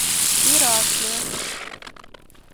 иракли